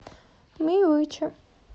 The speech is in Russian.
ми вичи